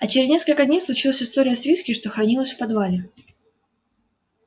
а через несколько дней случилась история с виски что хранилось в подвале